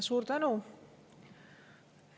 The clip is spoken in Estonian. Suur tänu!